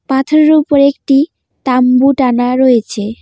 পাথরের উপরে একটি তাম্বু টানা রয়েছে।